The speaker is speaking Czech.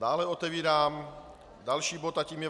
Dále otevírám další bod a tím je